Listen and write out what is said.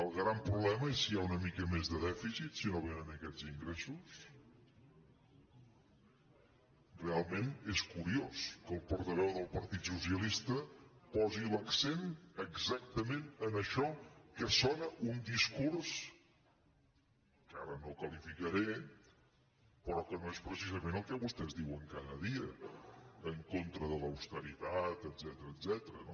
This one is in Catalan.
el gran problema és si hi ha una mica més de dèficit si no vénen aquests ingressos realment és curiós que el portaveu del partit socialista posi l’accent exactament en això que sona a un discurs que ara no qualificaré però que no és precisament el que vostès diuen cada dia en contra de l’austeritat etcètera